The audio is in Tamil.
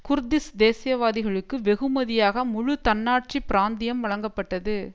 குர்திஸ் தேசியவாதிகளுக்கு வெகுமதியாக முழு தன்னாட்சி பிராந்தியம் வழங்கப்பட்டது